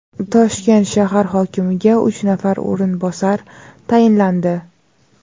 Toshkent shahar hokimiga uch nafar o‘rinbosar tayinlandi.